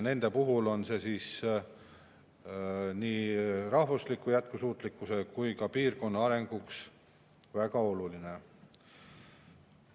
See oleks nii rahva jätkusuutlikkuse kui ka piirkonna arengu mõttes väga oluline.